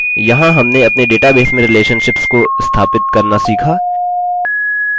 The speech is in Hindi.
अतः यहाँ हमने अपने database में relationships को स्थापित करना सीखा